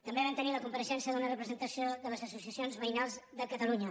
també vam tenir la compareixença d’una representació de les associacions veïnals de catalunya